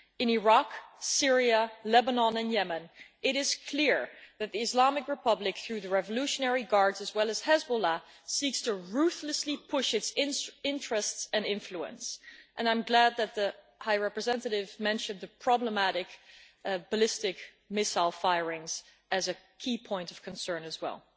In Iraq, Syria, Lebanon and Yemen, it is clear that Iran, through the Revolutionary Guards, as well as Hezbollah, seeks to ruthlessly push its interests and influence, and I am glad that the High Representative mentioned the problematic ballistic missile firings as a key point of concern as well.